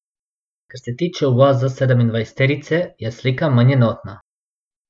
Kar se tiče uvoza sedemindvajseterice, je slika manj enotna.